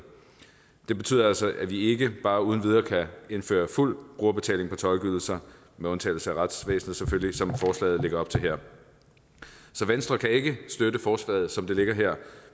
det betyder altså at vi ikke bare uden videre kan indføre fuld brugerbetaling på tolkeydelser med undtagelse af retsvæsenet selvfølgelig som forslaget lægger op til her så venstre kan ikke støtte forslaget som det ligger her